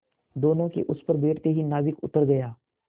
दोेनों के उस पर बैठते ही नाविक उतर गया